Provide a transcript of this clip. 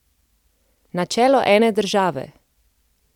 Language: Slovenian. Načelo ene države!